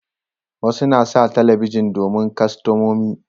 Wasu na sa talabijin domin kastamomi